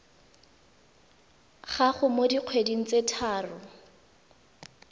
gago mo dikgweding tse tharo